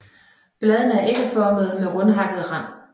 Bladene er ægformede med rundtakket rand